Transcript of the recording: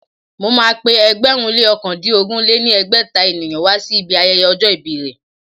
Mo ma pé ẹgbẹ̀rún lé ókàndínogún lé ní ẹgbẹ́ta ènìyàn wá sí ibi ayẹyẹ ọjọ́ ìbí rẹ̀